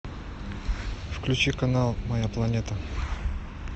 включи канал моя планета